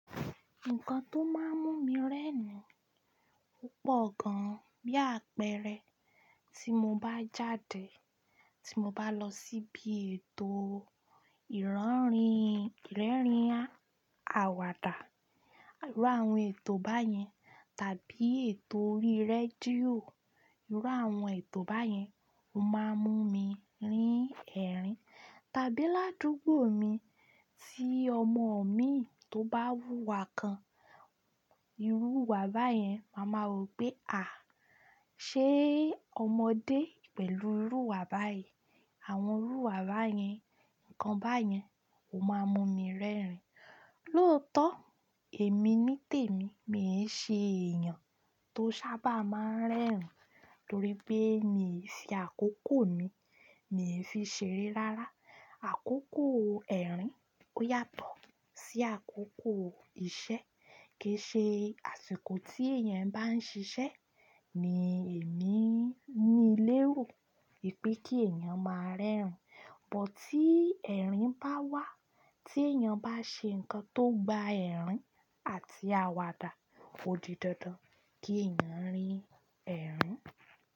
Nǹkan tó máa ń mú mi rẹ́rìn-ín pọ̀ gan-an. Bí àpẹẹrẹ, tí mo bá jáde, tí mo bá lọ síbi ètòo ìraanrín ìrẹ́rìn-àwàdà irú àwọn ètò báyẹn, tàbí ètò orí rédíò irú àwọn ètò báyẹn ó máa mú mi rín ẹ̀rín. Tàbí ládùúgbò mi tí ọmọ mii tó bá wúwa kan, irú ìwúwo báyẹn, màá ma wo pé à, ṣé ọmọdé pẹ̀lú irú ìwa báyen. Àwọn irú ìwúwo báyẹn, ǹkan báyẹn ó máa mú mi rẹ́rìn-ín. Lóòótọ́ èmi nítèmi, mii ṣe èèyàn tó sábà máa ń rẹ́rìn-ín torí pé mi ò ṣe àkókò mi, mi ò fi ṣeré rárá. Àkókò ẹ̀rín ò yàtọ̀ sí àkókò iṣẹ́. Kì í ṣe àsìkò tí èèyàn bá ń ṣiṣẹ́ ni èmi n ni lérò pé kí èèyàn máa rẹ́rìn-ín, but tí ẹ̀rín bá wà, tí èèyàn bá ṣe ǹkan tó gba ẹ̀rín àti àwàdà, ò di dandan kí ẹ̀yàn rín ẹ̀rín.